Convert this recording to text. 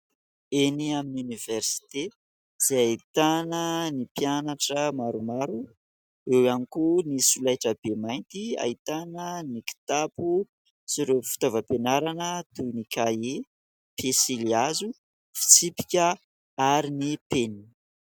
Eny amin'ny Oniversite izay ahitana ny mpianatra maromaro, eo ihany koa ny solaitrabe mainty ; ahitana ny kitapo sy ireo fitaovam-pianarana toy : ny kahie, pesilihazo, fitsipika ary ny penina.